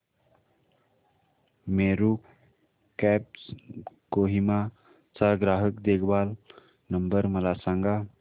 Meru cabs Kohima चा ग्राहक देखभाल नंबर मला सांगा